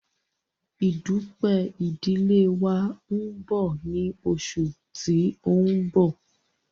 Ìdúpẹ̀ idìlé wa nbọ ni oṣù tí n bọ̀